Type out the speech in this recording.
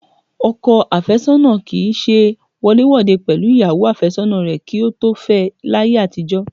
Ọkọ àfẹ́sọ́nà kì í ṣe wọléwòde pẹ̀lú ìyàwó àfẹ́sọ́nà rẹ kí ó tó fẹ láyé àtijọ́